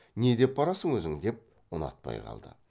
не деп барасың өзің деп ұнатпай қалды